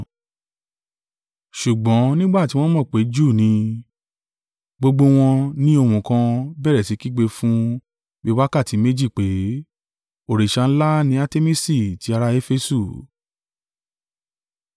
Ṣùgbọ́n nígbà tí wọ́n mọ̀ pé Júù ni, gbogbo wọn ni ohùn kan, bẹ̀rẹ̀ sí kígbe fún bi wákàtí méjì pé, “Òrìṣà ńlá ni Artemisi tí ará Efesu!”